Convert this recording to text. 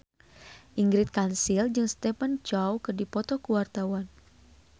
Ingrid Kansil jeung Stephen Chow keur dipoto ku wartawan